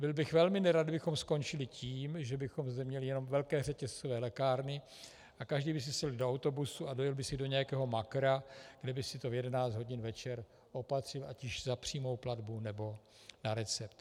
Byl bych velmi nerad, kdybychom skončili tím, že bychom zde měli jenom velké řetězcové lékárny a každý by si sedl do autobusu a dojel by si do nějakého makra, kde by si to v 11 hodin večer opatřil ať již za přímou platbu, nebo na recept.